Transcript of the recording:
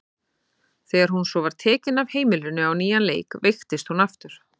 Þegar hún svo var tekin af heimilinu á nýjan leik veiktist hún aftur.